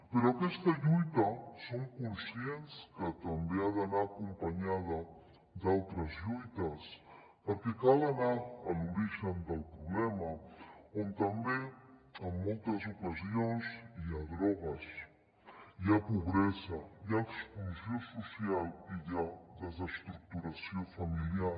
però aquesta lluita som conscients que també ha d’anar acompanyada d’altres lluites perquè cal anar a l’origen del problema on també en moltes ocasions hi ha drogues hi ha pobresa hi ha exclusió social i hi ha desestructuració familiar